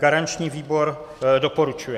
Garanční výbor doporučuje.